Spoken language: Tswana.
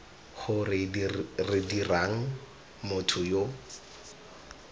gore re dirang motho yo